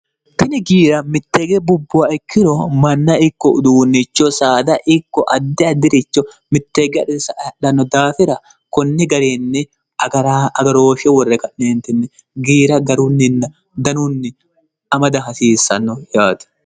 tini giira mitteege bubbowa ikkiro manna ikko uduunnicho saada ikko addi addi'richo mitteege adhe sae'lanno daafira kunni garinni agaroofshe worre ka'neentinni giira garunninna danunni amada hasiissanno yaati